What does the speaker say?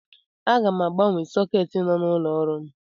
Aga m agbanwe sọketi nọ n'ụlọ ọrụ m.